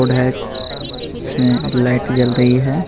Board है जिसमें light जल रही है.